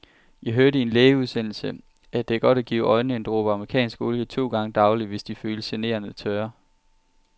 Jeg hørte i en lægeudsendelse, at det er godt at give øjnene en dråbe amerikansk olie to gange daglig, hvis de føles generende tørre.